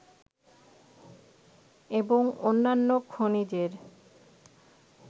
এবং অন্যান্য খনিজের